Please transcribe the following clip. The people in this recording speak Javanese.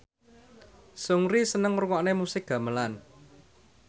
Seungri seneng ngrungokne musik gamelan